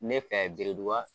Ne fɛ